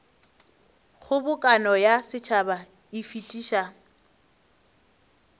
kgobokano ya setšhaba e fetiša